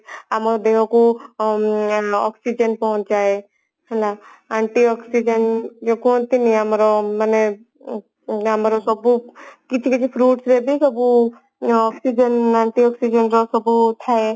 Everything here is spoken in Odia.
ଆମ ଦେହକୁ ଆଁ oxygen ପହଞ୍ଚାଏ ହେଲା Antioxygen କୁହନ୍ତିନୀ ମାନେ ଆମର ଆମର ସବୁ କିଛି କିଛି fruits ରେ ବି ସବୁ ଅ oxygen Antioxygen ଯୋଉ ସବୁ ଥାଏ